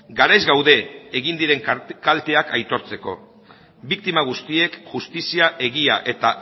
garaiz gaude egin diren kalteak aitortzeko biktima guztiek justizia egia eta